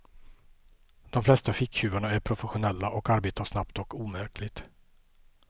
De flesta ficktjuvarna är professionella och arbetar snabbt och omärkligt.